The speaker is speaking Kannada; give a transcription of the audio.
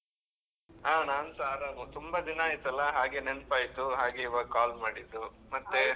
ಹಾ ನಾನ್ಸ ಆರಾಮ್, ತುಂಬಾ ದಿನ ಆಯ್ತಲ್ಲ ಹಾಗೆ ನೆನಪಾಯ್ತು, ಹಾಗೆ ಈವಾಗ್ call ಮಾಡಿದ್ದು ಮತ್ತೆ.